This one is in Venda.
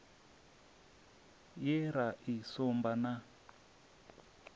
ye ra i sumba na